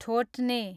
ठोट्ने